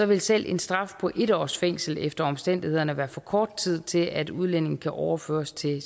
vil selv en straf på en års fængsel efter omstændighederne være for kort tid til at udlændinge kan overføres til